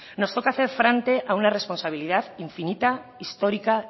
nos toca hacer frente a una responsabilidad infinita histórica